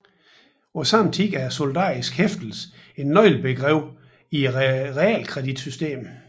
Samtidig er solidarisk hæftelse et nøglebegreb i realkreditsystemet